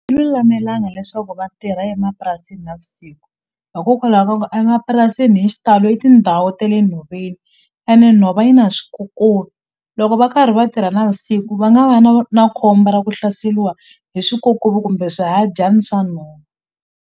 lulamelanga leswaku vatirha emapurasini navusiku hikokwalaho ka ku emapurasini hi xitalo i tindhawu ta le nhoveni ene nhova yi na swikokovi loko va karhi va tirha navusiku va nga va na na khombo ra ku hlaseliwa hi swikokovi kumbe swihadyani swa nhova.